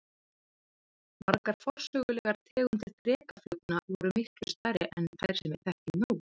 Margar forsögulegar tegundir drekaflugna voru miklu stærri en þær sem við þekkjum nú.